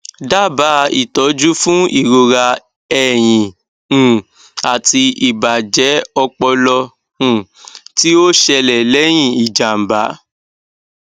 dábàá ìtọjú fún ìrora ẹyìn um àti ìbàjẹ ọpọlọ um tí ó ṣẹlẹ lẹyìn ìjàmbá